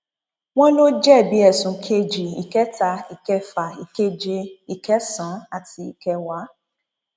wọn lọ jẹbi ẹsùn kejì ìkẹta ìkẹfà ìkeje ìkẹsànán àti ìkẹwàá